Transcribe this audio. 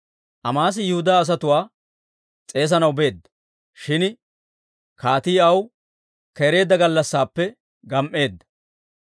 Amaasi Yihudaa asatuwaa s'eesanaw beedda; shin kaatii aw keereedda gallassaappe gam"eedda.